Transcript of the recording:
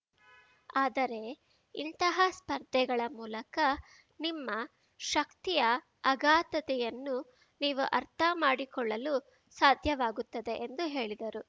ಆದರೆ ಇಂತಹ ಸ್ಪರ್ಧೆಗಳ ಮೂಲಕ ನಿಮ್ಮ ಶಕ್ತಿಯ ಅಗಾಧತೆಯನ್ನು ನೀವು ಅರ್ಥ ಮಾಡಿಕೊಳ್ಳಲು ಸಾಧ್ಯವಾಗುತ್ತದೆ ಎಂದು ಹೇಳಿದರು